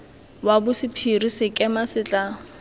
wa bosephiri sekema se tla